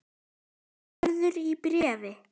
Gerður í bréfi.